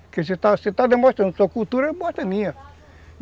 Porque se você está está demonstrando sua cultura, eu mostro a minha.